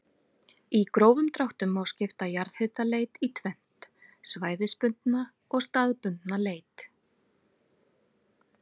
Í grófum dráttum má skipta jarðhitaleit í tvennt, svæðisbundna og staðbundna leit.